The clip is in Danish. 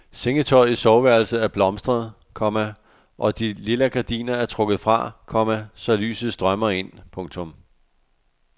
Sengetøjet i soveværelset er blomstret, komma og de lilla gardiner er trukket fra, komma så lyset strømmer ind. punktum